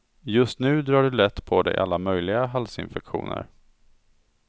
Just nu drar du lätt på dig alla möjliga halsinfektioner.